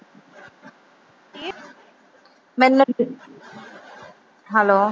hello